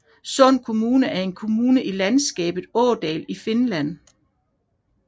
Sund kommune er en kommune i landskabet Åland i Finland